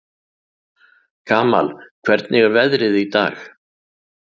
Kamal, hvernig er veðrið í dag?